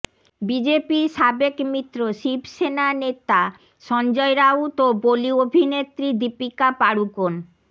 বিজেপির সাবেক মিত্র শিবসেনা নেতা সঞ্জয় রাউত ও বলি অভিনেত্রী দীপিকা পাড়ুকোন